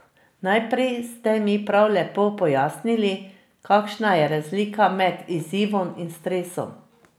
Najprej ste mi prav lepo pojasnili, kakšna je razlika med izzivom in stresom.